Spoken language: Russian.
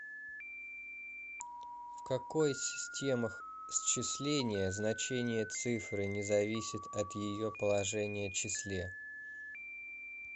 в какой системах счисления значение цифры не зависит от ее положения числе